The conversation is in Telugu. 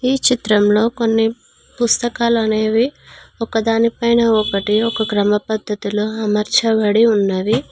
ఈ చిత్రంలో కొన్ని పుస్తకాలు అనేవి ఒకదాని పైన ఒకటి ఒక క్రమ పద్ధతిలో అమర్చబడి ఉన్నవి.